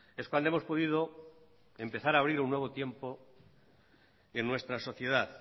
es cuando hemos podido empezar a abrir un nuevo tiempo en nuestra sociedad